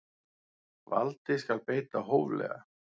Valdi skal beita hóflega.